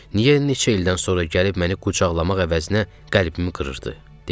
Niyə neçə ildən sonra gəlib məni qucaqlamaq əvəzinə qəlbimi qırırdı?